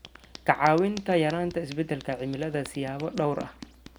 ka caawinta yaraynta isbeddelka cimilada siyaabo dhowr ah.